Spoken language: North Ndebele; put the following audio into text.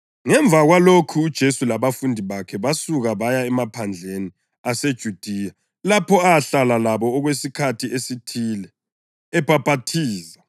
Ngemva kwalokhu uJesu labafundi bakhe basuka baya emaphandleni aseJudiya lapho ahlala labo okwesikhathi esithile ebhaphathiza.